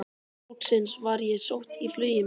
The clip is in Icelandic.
Loks var ég sótt í flugið mitt.